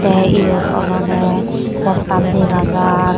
te iyot olode pottan dega jar.